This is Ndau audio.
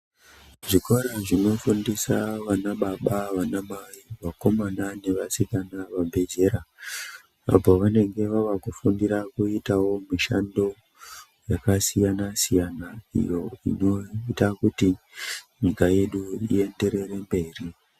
Zvikora zvinofundisa vanababa , vanamai , vakomana nevasikana vabve zera apo vanenge vava kufundirawo kuita mishando yakasiyana siyana iyo inoita kuti nyika yedu iyenderere mberi.